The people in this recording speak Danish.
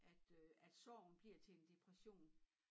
At øh at sorgen bliver til en depression